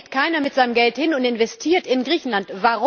Warum geht keiner mit seinem Geld hin und investiert in Griechenland?